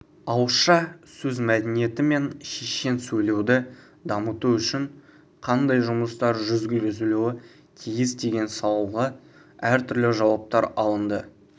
ауызша сөз мәдениеті мен шешен сөйлеуді дамыту үшін қандай жұмыстар жүргізілуі тиіс деген сауалға әртүрлі жауаптар алынды